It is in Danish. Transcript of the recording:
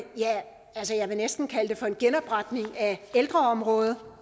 ja jeg vil næsten kalde det for en genopretning af ældreområdet